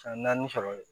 San naani sɔrɔ ye